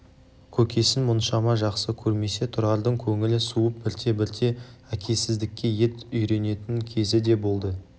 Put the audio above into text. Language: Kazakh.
көкесін мұншама жақсы көрмесе тұрардың көңілі суып бірте-бірте әкесіздікке ет үйренетін кезі де болды